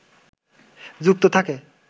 যুক্ত থাকে